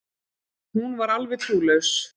Hún var alveg trúlaus.